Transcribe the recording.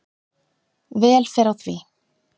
Vel fer á því.